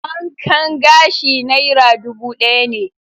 Wankan gashi naira dubu ɗaya ne.